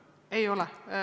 Ei ole.